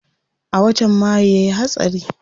A watan mayu yayi hatsari.